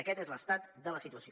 aquest és l’estat de la situació